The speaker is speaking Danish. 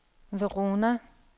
Verona